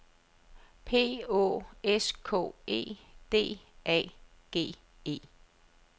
P Å S K E D A G E